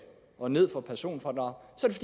og ned for personfradraget